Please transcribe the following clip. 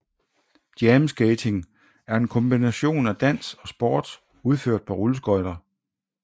Jam skating er en kombination af dans og sport udført på rulleskøjter